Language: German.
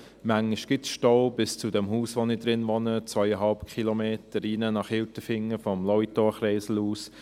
Manchmal gibt es Stau bis zum Haus, in dem ich wohne, zweieinhalb Kilometer nach Hilterfingen hinein, vom Lauitorkreisel aus.